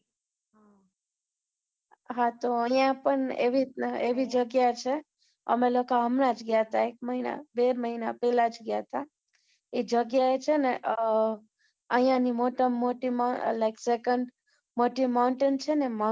હા તો, અહીંયા પણ એવી, એવી જગ્યા છે, અમે લોકો હમણાં જ ગ્યા હતા, એક મહિના, બે મહિના પહેલા જ ગયા હતા, ઈ જગ્યાએ છે ને, અમ અહિંયાની મોટામાં મોટી like second મોટી mountain છે ને